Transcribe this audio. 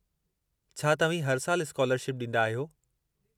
छा तव्हीं हर साल स्कालरशिप ॾींदा आहियो।